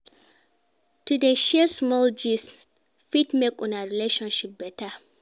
To dey share small gist fit make una relationship beta.